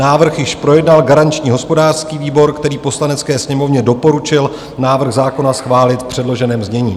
Návrh již projednal garanční hospodářský výbor, který Poslanecké sněmovně doporučil návrh zákona schválit v předloženém znění.